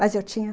Mas eu tinha.